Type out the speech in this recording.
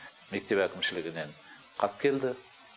мектеп әкімшілігінен хат келді